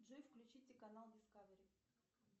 джой включите канал дискавери